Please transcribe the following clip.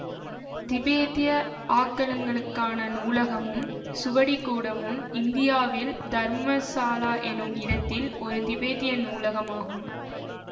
திபேத்திய ஆக்கலுங்களுக்கான நூலகமும் சுவடிக்கூடமும் இந்தியாவில் தர்மசாலா என்னும் இடத்தில் ஒரு திபேத்திய நூலகம் ஆகும்